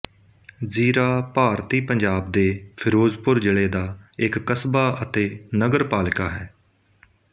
ਜ਼ੀਰਾ ਭਾਰਤੀ ਪੰਜਾਬ ਦੇ ਫ਼ਿਰੋਜ਼ਪੁਰ ਜ਼ਿਲ੍ਹੇ ਦਾ ਇੱਕ ਕਸਬਾ ਅਤੇ ਨਗਰ ਪਾਲਿਕਾ ਹੈ